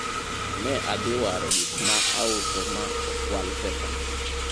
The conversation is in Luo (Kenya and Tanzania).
ne adhi waro gik mauso ma okwal pesana